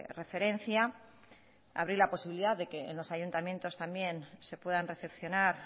referencia abrir la posibilidad de que en los ayuntamientos también se puedan recepcionar